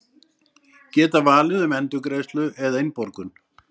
Geta valið um endurgreiðslu eða innborgun